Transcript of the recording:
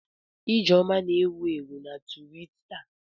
Ijeoma na-ewu ewu na Twitita.